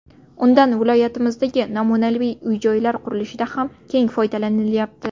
Undan viloyatimizdagi namunali uy-joylar qurilishida ham keng foydalanilyapti.